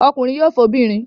Ọkùnrin yóò fẹ́ obìnrin.